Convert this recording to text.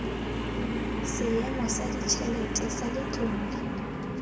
seemo sa ditšhelete sa letlole